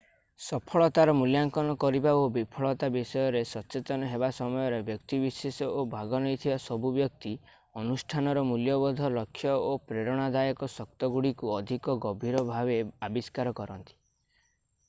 ସଫଳତାର ମୂଲ୍ୟାଙ୍କନ କରିବା ଓ ବିଫଳତା ବିଷୟରେ ସଚେତନ ହେବା ସମୟରେ ବ୍ୟକ୍ତିବିଶେଷ ଓ ଭାଗ ନେଇଥିବା ସବୁ ବ୍ୟକ୍ତି ଅନୁଷ୍ଠାନର ମୂଲ୍ୟବୋଧ ଲକ୍ଷ୍ୟ ଓ ପ୍ରେରଣାଦାୟକ ଶକ୍ତିଗୁଡ଼ିକୁ ଅଧିକ ଗଭୀର ଭାବେ ଆବିଷ୍କାର କରନ୍ତି